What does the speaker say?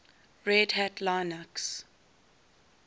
red hat linux